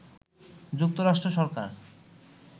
যুক্তরাষ্ট্র সরকার